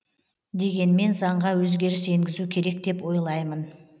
дегенмен заңға өзгеріс енгізу керек деп ойлаймын